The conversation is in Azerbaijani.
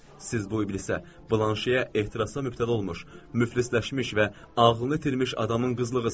Siz bu iblisə, blanşiyə ehtirasla mübtəla olmuş müflisləşmiş və ağlını itirmiş adamın qızlığısız.